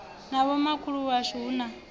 na vhomakhulu washu hu na